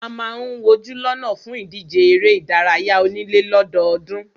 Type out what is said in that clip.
A máà ń wojú lọ́nà fún ìdíje eré ìdárayá onílé lọ́dọọ́dún.